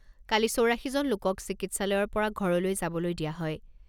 কালি চৌৰাশীজন লোকক চিকিৎসালয়ৰ পৰা ঘৰলৈ যাবলৈ দিয়া হয়।